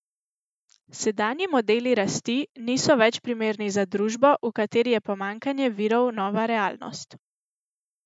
Sedanji modeli rasti niso več primerni za družbo, v kateri je pomanjkanje virov nova realnost.